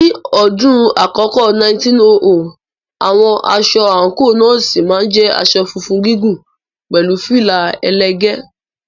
Ní ọdún àkọ́kọ́ 1900, àwọn aṣọ àǹkóò Nọ́ọ̀sì máa ń jẹ́ aṣọ funfun gígùn pẹ̀lú fìlà ẹlẹ́gẹ̀ẹ́.